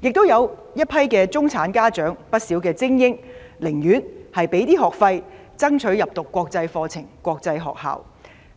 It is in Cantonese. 亦都有一群中產家長、寧願支付多些學費，讓子女入讀國際學校，